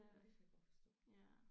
Ja det kan jeg godt forstå